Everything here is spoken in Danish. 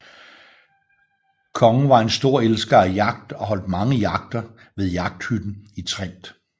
Kongen var en stor elsker af jagt og holdt mange jagter ved jagthytten i Trend